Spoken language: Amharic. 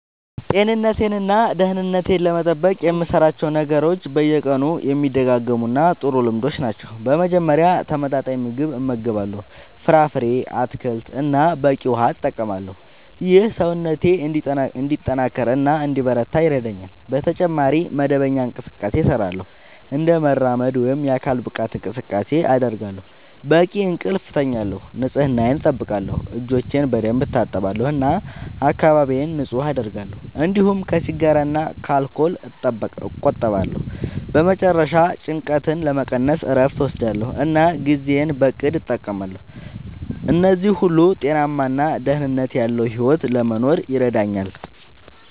ጤንነቴን እና ደህንነቴን ለመጠበቅ የምሠራቸው ነገሮች በየቀኑ የሚደጋገሙ ጥሩ ልምዶች ናቸው። በመጀመሪያ ተመጣጣኝ ምግብ እመገባለሁ፣ ፍራፍሬ፣ አትክልት እና በቂ ውሃ እጠቀማለሁ። ይህ ሰውነቴን እንዲጠናከር እና እንዲበረታ ይረዳኛል። በተጨማሪ መደበኛ እንቅስቃሴ እሠራለሁ፣ እንደ መራመድ ወይም የአካል ብቃት እንቅስቃሴ አደርጋለሁ፣ በቂ እንቅልፍ እተኛለሁ፣ ንጽህናየን አጠብቃለሁ (እጆቼን በደንብ እታጠባለሁ እና አካባቢዬን ንጹህ አደርጋለሁ)፤እንዲሁም ከሲጋራ እና ከአልኮል እቆጠባለሁ። በመጨረሻ ጭንቀትን ለመቀነስ እረፍት እወስዳለሁ እና ጊዜዬን በእቅድ እጠቀማለሁ። እነዚህ ሁሉ ጤናማ እና ደህንነት ያለዉ ሕይወት ለመኖር ይረዳኛል።